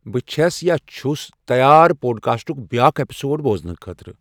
بہٕ چھَس یا چھُس تیار پوڑ کاسٹُک بیٛاکھ ایپسوڑ بوزنہٕ خٲطرٕ